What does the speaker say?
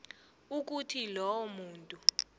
ukuthi lowo muntu